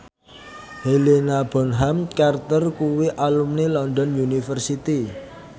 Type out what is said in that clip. Helena Bonham Carter kuwi alumni London University